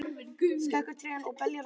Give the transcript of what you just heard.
Skekur trén og beljar á grasinu.